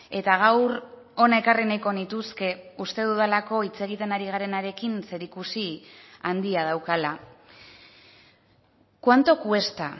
eta gaur hona ekarri nahiko nituzke uste dudalako hitz egiten ari garenarekin zerikusi handia daukala cuánto cuesta